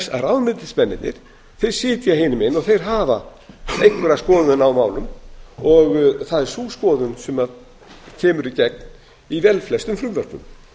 að ráðuneytismennirnir sitja hinum megin og þeir hafa einhverja skoðun á málum og það er sú skoðun sem kemur í gegn í velflestum frumvörpum